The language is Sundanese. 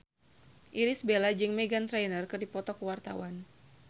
Irish Bella jeung Meghan Trainor keur dipoto ku wartawan